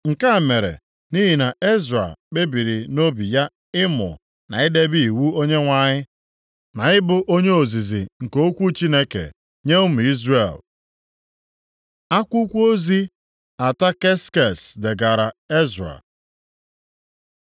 Nke a mere nʼihi na Ezra kpebiri nʼobi ya ịmụ, na idebe iwu Onyenwe anyị, na ịbụ onye ozizi nke okwu Chineke nye ụmụ Izrel. Akwụkwọ ozi Ataksekses degara Ezra